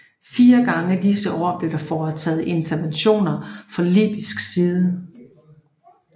Fire gange disse år blev der foretaget interventioner fra Libysk side